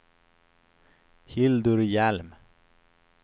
Hildur Hjelm